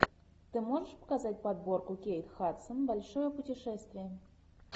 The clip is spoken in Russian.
ты можешь показать подборку кейт хадсон большое путешествие